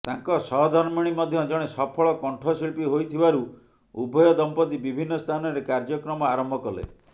ତାଙ୍କ ସହଧର୍ମିଣୀ ମଧ୍ୟ ଜଣେ ସଫଳ କଣ୍ଠଶିଳ୍ପୀ ହୋଇଥିବାରୁ ଉଭୟ ଦମ୍ପତି ବିଭିନ୍ନ ସ୍ଥାନରେ କାର୍ଯ୍ୟକ୍ରମ ଆରମ୍ଭ କଲେ